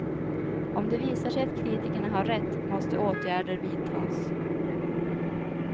Om det visar sig att kritikerna har rätt måste åtgärder vidtas.